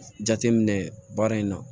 Jateminɛ baara in na